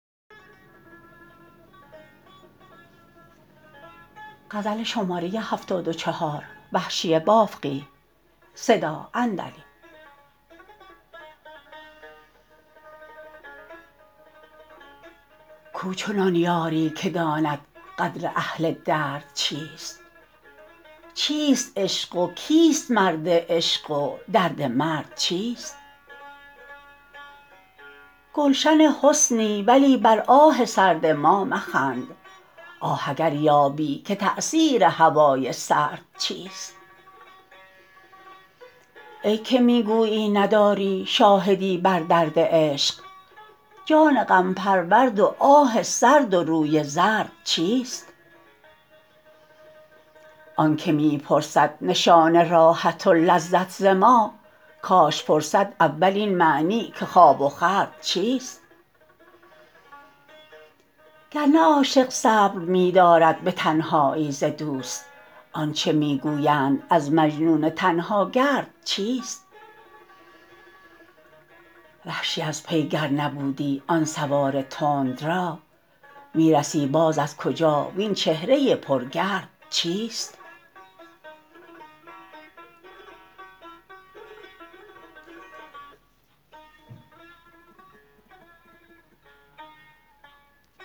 کوچنان یاری که داند قدر اهل درد چیست چیست عشق و کیست مرد عشق و درد مرد چیست گلشن حسنی ولی بر آه سرد ما مخند آه اگر یابی که تأثیر هوای سرد چیست ای که می گویی نداری شاهدی بر درد عشق جان غم پرورد و آه سرد و روی زرد چیست آنکه می پرسد نشان راحت و لذت ز ما کاش پرسد اول این معنی که خواب و خورد چیست گرنه عاشق صبر می دارد به تنهایی ز دوست آنچه می گویند از مجنون تنها گرد چیست وحشی از پی گر نبودی آن سوار تند را می رسی باز از کجا وین چهره پر گرد چیست